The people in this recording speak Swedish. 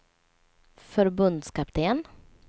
förbundskapten